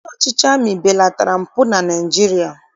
Ndị ọchịchị amị belatara mpụ na Naịjirịa